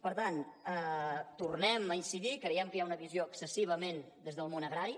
per tant tornem a incidir hi creiem que hi ha una visió excessivament des del món agrari